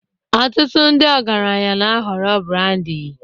Ọtụtụ ndị ọgaranya na-ahọrọ brandi